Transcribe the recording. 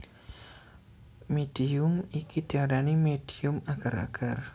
Médium iki diarani médium agar agar